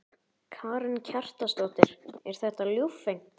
Karen Kjartansdóttir: Er þetta ljúffengt?